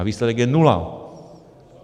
A výsledek je nula.